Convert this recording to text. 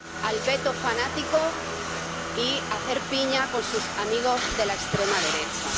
al veto fanático y a hacer piña con sus amigos de la extrema derecha.